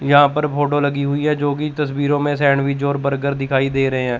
यहां पर फोटो लगी हुई है जोकि तस्वीरों में सैंडविच और बर्गर दिखाई दे रहे है।